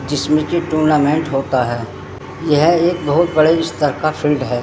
जिसमें की टूर्नामेंट होता है यह एक बहोत बड़े अस्तर का फील्ड है।